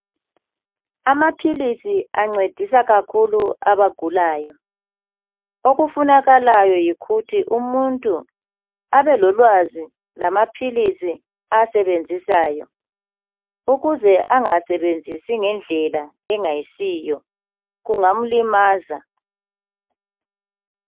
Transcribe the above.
amaphilisi ancedisa kakhulu abagulayo okufunakalayo yikuthi umuntu abe lolwazi lamaphilisi awasebenzisayo ukze angawasebenzisi ngendlela engayisiyo kungamlimaza